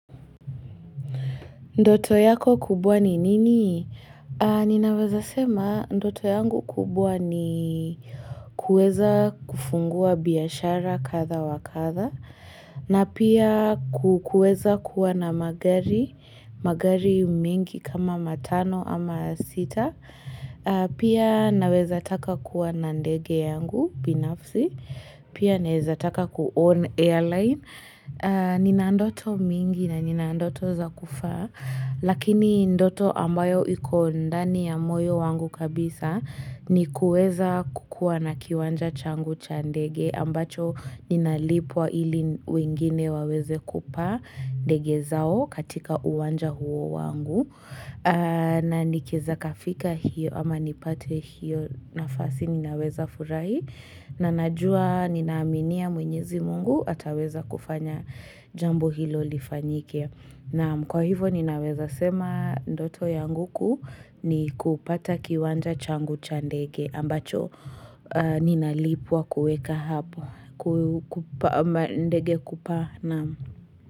Ndoto yako kubwa ni nini? Ninaweza sema ndoto yangu kubwa ni kuweza kufungua biashara kadha wakadha na pia kuweza kuwa na magari mingi kama matano ama sita pia naweza taka kuwa na ndege yangu binafsi pia naweza taka kuown airline Nina ndoto mingi na nina ndoto za kufaa Lakini ndoto ambayo iko ndani ya moyo wangu kabisa ni kuweza kukuwa na kiwanja changu cha ndege ambacho ninalipwa ili wengine waweze kupaa ndege zao katika uwanja huo wangu na nikieza kafika hiyo ama nipate hiyo nafasi ninaweza furahi na najua ninaaminia mwenyezi mungu ataweza kufanya jambo hilo lifanyike. Nam kwa hivo ninaweza sema ndoto yangu kuu ni kupata kiwanja changu cha ndege. Ambacho ninalipwa kuweka hapo. Ku kupa ndege kupata nam.